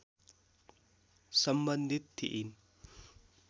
सम्बन्धित थिइन्